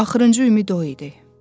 Axırıncı ümid o idi.